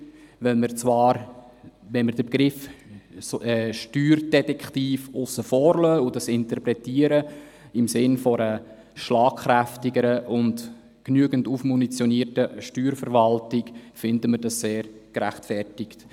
Wenn wir den Begriff Steuerdetektiv aussen vor lassen und ihn im Sinne einer schlagkräftigeren und mit genügend Munition versorgten Steuerverwaltung interpretieren, finden wir das sehr gerechtfertigt.